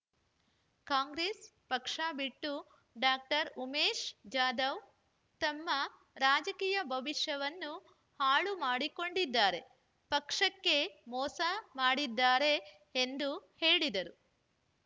ಕಾಂಗ್ರೆಸ್ ಪಕ್ಷ ಬಿಟ್ಟು ಡಾಕ್ಟರ್ ಉಮೇಶ್ ಜಾಧವ್ ತಮ್ಮ ರಾಜಕೀಯ ಭವಿಷ್ಯವನ್ನು ಹಾಳು ಮಾಡಿಕೊಂಡಿದ್ದಾರೆ ಪಕ್ಷಕ್ಕೆ ಮೋಸ ಮಾಡಿದ್ದಾರೆ ಎಂದು ಹೇಳಿದರು